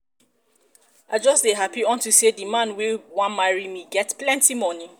i just dey happy unto say the man wey wan marry me get plenty money